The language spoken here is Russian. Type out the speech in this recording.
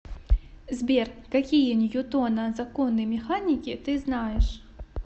сбер какие ньютона законы механики ты знаешь